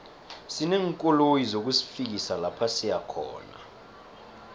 sineenkoloyi zokusifikisa lapha siyakhona